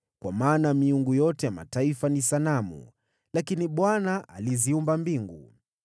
Kwa maana miungu yote ya mataifa ni sanamu, lakini Bwana aliziumba mbingu.